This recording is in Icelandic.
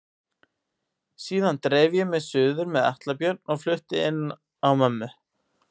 Síðan dreif ég mig suður með Atla Björn og flutti inn á mömmu.